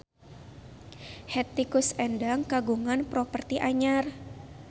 Hetty Koes Endang kagungan properti anyar